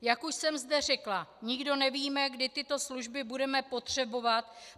Jak už jsem zde řekla, nikdo nevíme, kdy tyto služby budeme potřebovat.